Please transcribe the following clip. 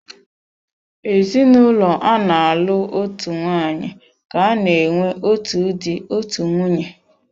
Ezinụlọ ana-alụ so otu nwaanyị ka-ana enwe otu dị, otú nwunye.